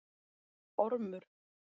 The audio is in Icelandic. Ormur